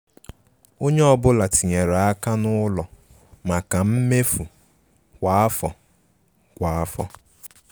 Ònye ọ́bụ̀la tinyèrè aka n' ụlọ maka mmefu kwa afọ. kwa afọ.